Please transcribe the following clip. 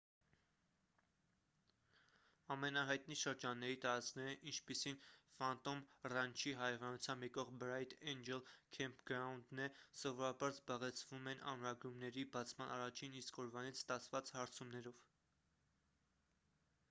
ամենահայտնի շրջանների տարածքները ինչպիսին ֆանտոմ ռանչի հարևանությամբ եղող բրայթ էնջլ քեմփգրաունդն է սովորաբար զբաղեցվում են ամրագրումների բացման առաջին իսկ օրվանից ստացված հարցումներով